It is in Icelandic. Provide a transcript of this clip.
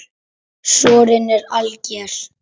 Sorinn er alger.